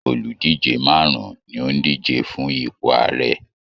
Oludije marun-un ni ó ń díje fún ipò Ààrẹ.